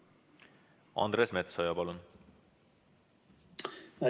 Andres Metsoja, palun!